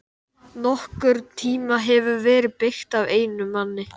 NOKKURN TÍMA HEFUR VERIÐ BEYGT AF EINUM MANNI!